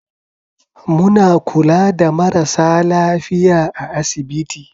Muna kula da marasa lafiya a asibiti.